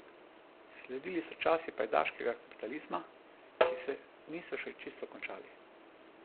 Sledili so časi pajdaškega kapitalizma, ki se niso še čisto končali.